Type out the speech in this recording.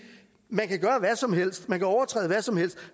man kan gøre hvad som helst man kan overtræde hvad som helst